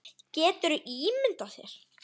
Geturðu ímyndað þér.